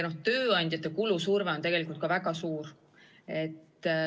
Ja tööandjate kulusurve on tegelikult ka väga suur.